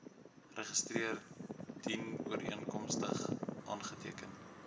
register dienooreenkomstig aangeteken